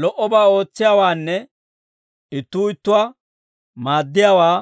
Lo"obaa ootsiyaawaanne ittuu ittuwaa maaddiyaawaa